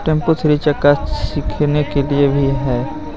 Tempo three चक्का सिखने के लिए भी है.